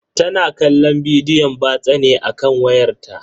Tana kallon bidiyon batsa ne a kan wayarta.